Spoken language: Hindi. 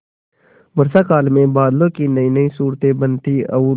वर्षाकाल में बादलों की नयीनयी सूरतें बनती और